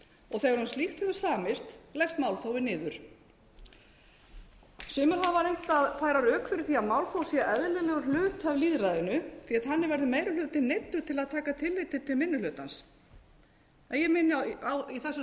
og þegar um slíkt hefur samist leggst málþófið niður sumir hafa reynt að færa rök fyrir því að málþóf sé eðlilegur hluti af lýðræðinu því þannig verður meiri hlutinn neyddur til að taka tillit til minni hlutans ég minni á í þessu